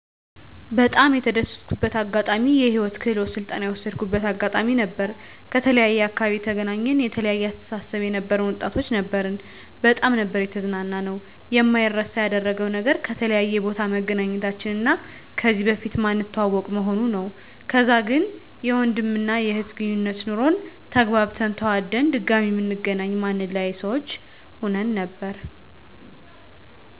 በጣም የተደሰትኩበት አጋጣሚ የህይወት ክህሎት ስልጠና የወሰድኩበት አጋጣሚ ነበር። ከተለያየ አካባቢ የተገናኘን የተለያየ አስተሳሰብ የነበረን ወጣቶች ነበርን በጣም ነበር የተዝናናነው። የማይረሳ ያደረገው ነገር ከተለያየ ቦታ መገናኘታችን እና ከዚህ በፊት ማንተዋወቅ መሆኑ ነው። ከዛ ግን የወንድም እና የእህት ግነኙነት ኖሮን ተግባብተን ተዋደን ድጋሚ ምንገናኝ ማንለያይ ሰዎች ሁን ነበር